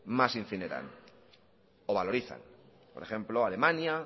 más incineran o valorizan por ejemplo alemania